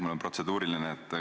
Mul on protseduuriline küsimus.